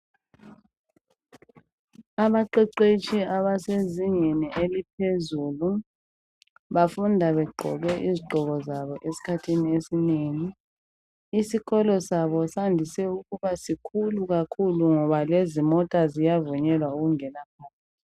Abaqheqhetshi abasezingeni eliphezulu bafunda begqoke izigqoko zabo esikhathini esinengi isikolo sabo sandise ukuba sikhulu kakhulu ngoba lezimota ziyavunyelwa ukungena phakathi.